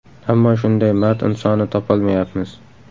Ammo shunday mard insonni topolmayapmiz.